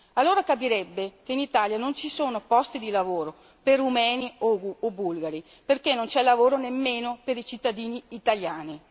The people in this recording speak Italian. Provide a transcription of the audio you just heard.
Allora capirebbe che in Italia non ci sono posti di lavoro per rumeni o bulgari perché non c'è lavoro neppure per i cittadini italiani.